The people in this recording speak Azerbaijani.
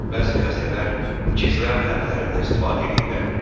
Bəzi xəstələr gizləm həblərindən istifadə eləyirlər.